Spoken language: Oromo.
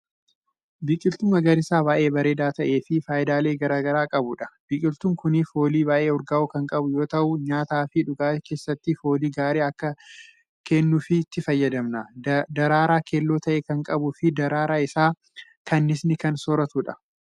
Biqiltuu magariisa baay'ee bareedaa ta'eefi faayidaalee garagaraa qabuudha. biqiltuun Kuni foolii baay'ee urgaawu Kan qabu yoo ta'u nyaataafi dhugaatii keessatti foolii gaarii Akka kennuufi itti fayyadamna. daraaraa keelloo ta'e Kan qabuufi daraaraa Isaa kanniisni Kan sooratuudha.